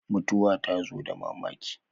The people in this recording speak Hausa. Mutuwar ta tazo da mamaki